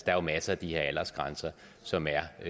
er jo masser af de her aldersgrænser som er